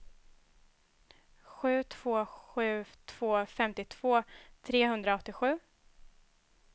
sju två sju två femtiotvå trehundraåttiosju